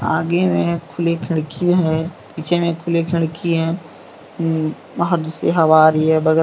आगे मे खुली खिड़की है पीछे मे खुले खिड़की है। उ से हवा रही है बगल--